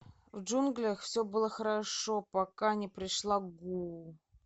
в джунглях все было хорошо пока не пришла гуу